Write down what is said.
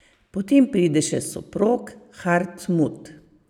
Potem pride še soprog, Hartmud.